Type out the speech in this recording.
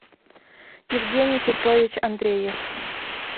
евгений петрович андреев